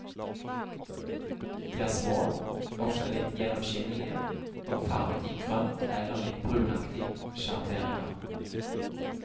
De er små, ofte litt gjennomskinnelige, og farvet i grønt eller litt brunaktige sjatteringer.